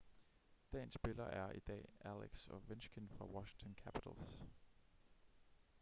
dagens spiller er i dag alex ovechkin fra washington capitals